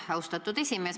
Aitäh, austatud esimees!